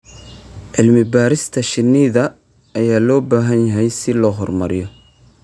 Cilmi-baarista shinnida ayaa loo baahan yahay si loo horumariyo.